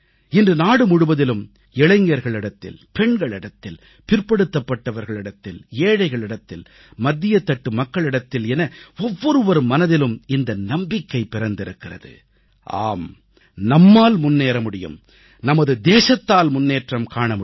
இன்று நாடு முழுவதிலும் இளைஞர்களிடத்தில் பெண்களிடத்தில் பிற்படுத்தப்பட்டவர்களிடத்தில் ஏழைகளிடத்தில் மத்தியத்தட்டு மக்களிடத்தில் என ஒவ்வொருவர் மனதிலும் இந்த நம்பிக்கை பிறந்திருக்கிறது ஆம் நம்மால் முன்னேற முடியும் நமது தேசத்தால் முன்னேற்றம் காண முடியும்